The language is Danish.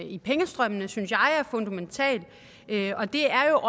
i pengestrømmene synes jeg er fundamental og det er